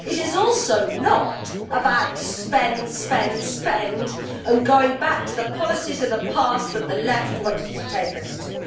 It is also not about spend, spend, spend and going back to the policies of the past that the left wanted to take us to.